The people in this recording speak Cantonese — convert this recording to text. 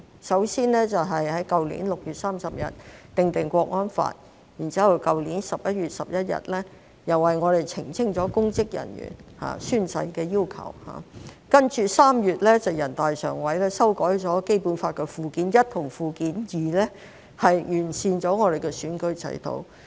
首先在去年6月30日訂立《香港國安法》，然後在去年11月11日為香港澄清了公職人員宣誓的要求，接着3月全國人大常委會修改了《基本法》附件一和附件二，完善了香港的選舉制度。